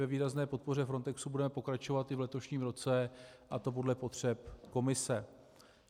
Ve výrazné podpoře Frontexu budeme pokračovat i v letošním roce, a to podle potřeb Komise.